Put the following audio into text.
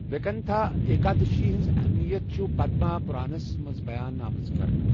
ویکنتھا ایکادشی ہنٛز اہمیت چھِ پدما پُرانا ہَس منٛز بیان آمٕژ کرنہٕ۔